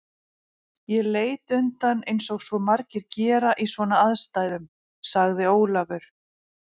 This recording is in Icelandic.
Ég leit undan eins og svo margir gera í svona aðstæðum sagði Ólafur.